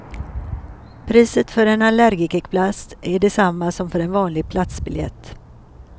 Priset för en allergikerplats är detsamma som för en vanlig platsbiljett.